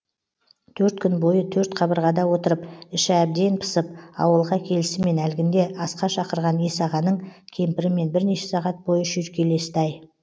төрт күн бойы төрт қабырғада отырып іші әбден пысып ауылға келісімен әлгінде асқа шақырған есағаның кемпірімен бірнеше сағат бойы шүйіркелесті ай